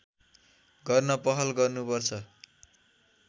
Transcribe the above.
गर्न पहल गर्नुपर्छ